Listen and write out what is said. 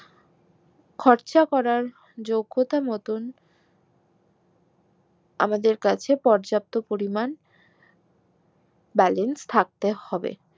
খরচ করার যোগ্যতা মতন আমাদের কাছে পর্যাপ্ত পরিমান balance থাকতে হবে